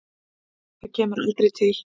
Það kemur aldrei til.